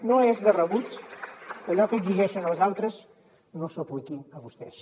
no és de rebut que allò que exigeixen als altres no s’ho apliquin a vostès